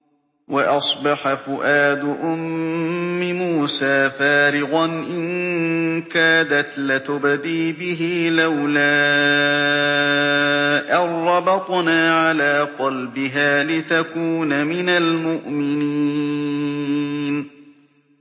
وَأَصْبَحَ فُؤَادُ أُمِّ مُوسَىٰ فَارِغًا ۖ إِن كَادَتْ لَتُبْدِي بِهِ لَوْلَا أَن رَّبَطْنَا عَلَىٰ قَلْبِهَا لِتَكُونَ مِنَ الْمُؤْمِنِينَ